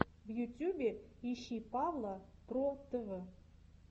в ютьюбе ищи павла про тв